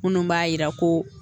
Minnu b'a jira ko